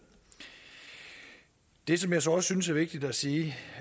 det som jeg så også synes er vigtigt at sige